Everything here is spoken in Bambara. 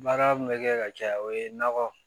Baara min bɛ kɛ ka caya o ye nɔgɔ